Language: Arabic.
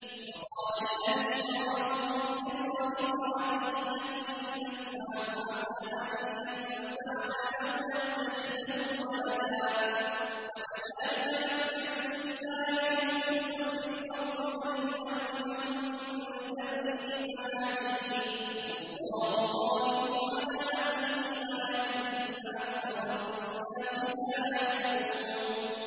وَقَالَ الَّذِي اشْتَرَاهُ مِن مِّصْرَ لِامْرَأَتِهِ أَكْرِمِي مَثْوَاهُ عَسَىٰ أَن يَنفَعَنَا أَوْ نَتَّخِذَهُ وَلَدًا ۚ وَكَذَٰلِكَ مَكَّنَّا لِيُوسُفَ فِي الْأَرْضِ وَلِنُعَلِّمَهُ مِن تَأْوِيلِ الْأَحَادِيثِ ۚ وَاللَّهُ غَالِبٌ عَلَىٰ أَمْرِهِ وَلَٰكِنَّ أَكْثَرَ النَّاسِ لَا يَعْلَمُونَ